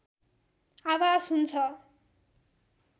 आभास हुन्छ